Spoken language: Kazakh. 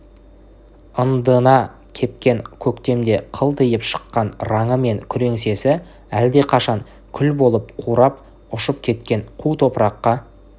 ындыны кепкен көктемде қылтиып шыққан раңы мен күреңсесі әлдеқашан күл болып қурап ұшып кеткен қу топыраққа